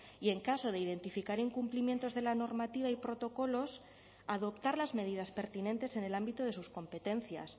y en caso de identificar incumplimientos de la normativa y protocolos adoptar las medidas pertinentes en el ámbito de sus competencias